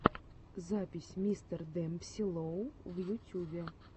запись мистер демпси лоу в ютюбе